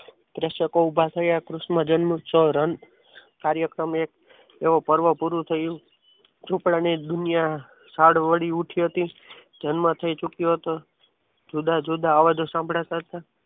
દર્શકો ઉભા થયા કૃષ્ણ જન્મોત્સવ રણ કાર્યક્રમ એવો એક પર્વ પૂરું થયું ઝુંપડા ની દુનિયા સાદ વળી ઉઠી હતી જન્મ થઈ ચૂક્યો હતો જુદા જુદા અવાજો સંભળાતા હતા.